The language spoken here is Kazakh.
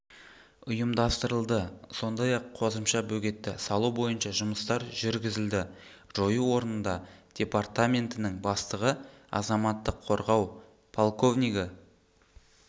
ұйымдастырылды сондай-ақ қосымша бөгетті салу бойынша жұмыстар жүргізілді жою орнында департаментінің бастығы азаматтық қорғау полковнигі